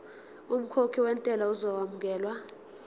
umkhokhi wentela uzokwamukelwa